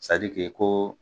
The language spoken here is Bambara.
ko